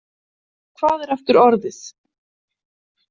Hvað er aftur orðið?